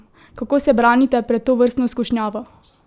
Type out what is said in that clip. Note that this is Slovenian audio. Kako se branite pred tovrstno skušnjavo?